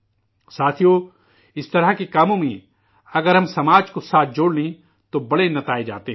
ساتھیو، اس طرح کے کاموں میں، اگر ہم، سماج کو ساتھ جوڑ لیں، تو بڑے نتائج سامنے آتے ہیں